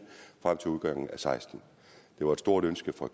frem til udgangen af og seksten det var et stort ønske fra